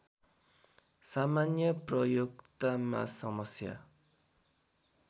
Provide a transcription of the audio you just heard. सामान्य प्रयोक्तामा समस्या